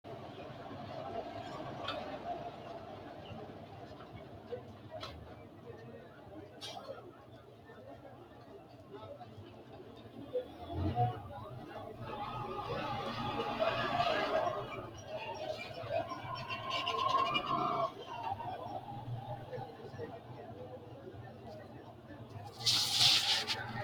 tini maa xawissanno misileeti ? mulese noori maati ? hiissinannite ise ? tini kultannori maati? tinni daga mayi Barra xaade ikkitinno garaatti?